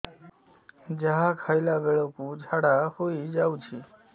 ଯାହା ଖାଇଲା ବେଳକୁ ଝାଡ଼ା ହୋଇ ଯାଉଛି